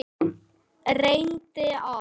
Reyndir allt.